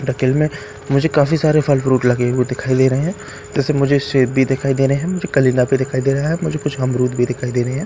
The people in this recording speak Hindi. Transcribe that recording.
डकि‍ल में मुझे काफी सारे फल फ्रूट लगे हुए दिखाई दे रहे हैं वैसे मुझे सेब भी दिखाई दे रहे हैं कलींदा भी दिखाई दे रहा हैं मुझे कुछ अमरुद भी दिखाई दे रहे हैं --